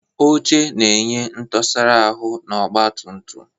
Oche na-enye ntusara ahu na ọgba tum tum.